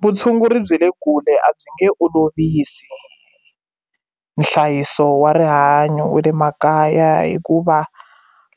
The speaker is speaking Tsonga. Vutshunguri bya le kule a byi nge olovisi nhlayiso wa rihanyo wa le makaya hikuva